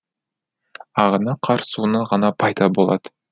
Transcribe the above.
ағыны қар суынан ғана пайда болады